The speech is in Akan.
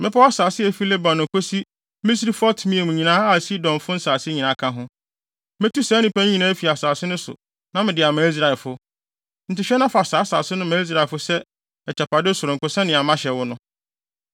“Mmepɔw asase a efi Lebanon kosi Misrefot-Maim nyinaa a Sidonfo nsase nyinaa ka ho. Metu saa nnipa no nyinaa afi asase no so na mede ama Israelfo. Enti hwɛ na fa saa asase no ma Israelfo sɛ agyapade sononko sɛnea mahyɛ wo no.